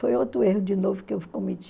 Foi outro erro de novo que eu cometi.